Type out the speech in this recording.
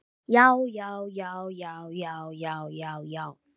JÁ, JÁ, JÁ, JÁ, JÁ, JÁ, JÁ, JÁ.